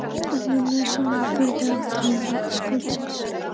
En mömmu er sama um ferðir athafnaskáldsins.